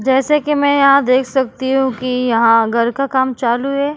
जैसे कि मैं देख सकती हूँ कि यहाँ घर का काम चालू है।